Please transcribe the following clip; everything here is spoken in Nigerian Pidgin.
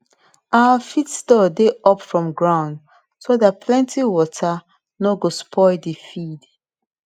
our feed store dey up from ground so dat plenty water no go spoil de feed